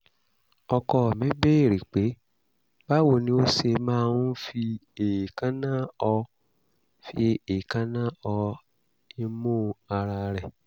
(ọkọ mi béèrè pe báwo ni ó ṣe máa ń fi èékánná họ fi èékánná họ imú ara rẹ̀